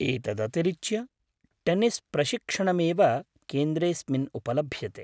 एतदतिरिच्य, टेन्निस् प्रशिक्षणमेव केन्द्रेऽस्मिन् उपलभ्यते।